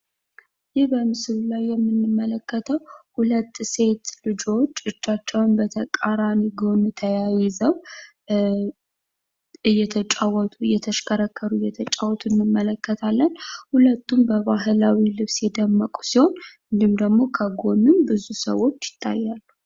ይህ በምስሉ ላይ የምንመለከተው ሁለት ሴት ልጆች እጃቸውን በተቃራኒ ተያይዘው እየተሽከረከሩ ይታያሉ። ሁለቱም የባህላዊ ልብስ ለብሰው እየተጫዎቱ ይገኛሉ። ከጎንም ብዙ ሰዎች ይታያሉ።